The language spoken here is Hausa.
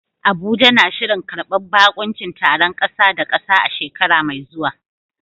Abuja na shirin karbar baƙuncin taron ƙasa da ƙasa a shekara mai zuwa.